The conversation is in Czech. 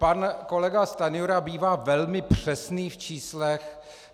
Pan kolega Stanjura bývá velmi přesný v číslech.